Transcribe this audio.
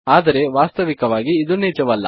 ಆದರೆ ವಾಸ್ತವಿಕವಾಗಿ ಇದು ನಿಜವಲ್ಲ